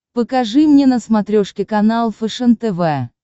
покажи мне на смотрешке канал фэшен тв